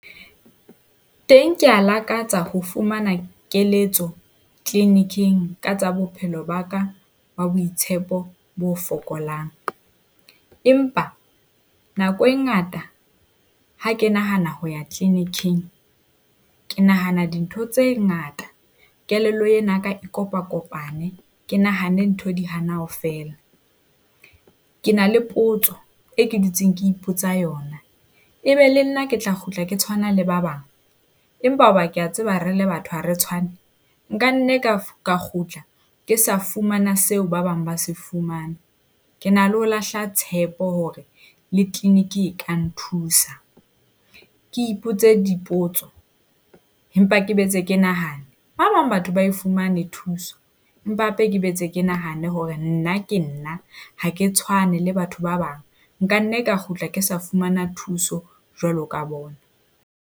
Teng ke a lakatsa ho fumana keletso clinic-ing ka tsa bophelo ba ka ba boitshepo bo fokolang. Empa nako e ngata ha ke nahana ho ya clinic-ing ke nahana dintho tse ngata kelello ena e kopakopane, ke nahane ntho di hana ho fela. Ke na le potso e ke dutseng ke ipotsa yona, e be le nna ke tla kgutla ke tshwana le ba bang, empa hoba ke a tseba re le batho ha re tshwane. Nkanna ka ka kgutla ke sa fumana seo ba bang ba se fumanang. Ke na le ho lahla tshepo hore le clinic e ka nthusa. Ke ipotse dipotso, empa ke boetse ke nahane. Ba bang batho ba e fumane thuso, empa hape ke boetse ke nahane hore nna ke nna, ha ke tshwane le batho ba bang. Nka nne ka kgutla ke sa fumana thuso jwalo ka bona.